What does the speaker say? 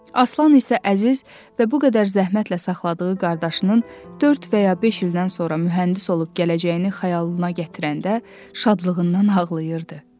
Aslan isə əziz və bu qədər zəhmətlə saxladığı qardaşının dörd və ya beş ildən sonra mühəndis olub gələcəyini xəyalına gətirəndə şadlığından ağlayırdı.